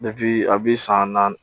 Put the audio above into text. a bi san naani